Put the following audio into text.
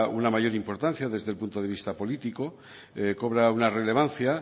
una mayor importancia desde el punto de vista político cobra una relevancia